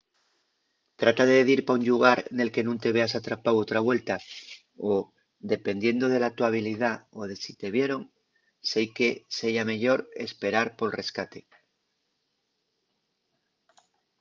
trata de dir pa un llugar nel que nun te veas atrapáu otra vuelta o dependiendo de la to habilidá o de si te vieron seique seya meyor esperar pol rescate